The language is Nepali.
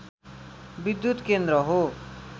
विद्युत केन्द्र हो